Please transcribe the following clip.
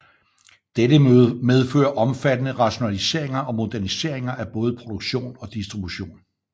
Dette medfører omfattende rationaliseringer og moderniseringer af både produktion og distribution